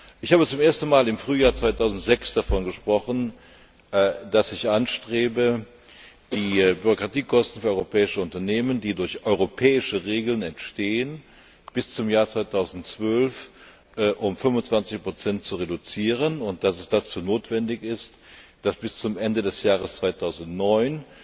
Ich habe zum ersten Mal im Frühjahr 2006 davon gesprochen, dass ich anstrebe, die Bürokratiekosten für europäische Unternehmen, die durch europäische Regeln entstehen, bis zum Jahr 2012 um 25 zu reduzieren, und dass es dazu notwendig ist, dass die Kommission bis zum Ende des Jahres 2009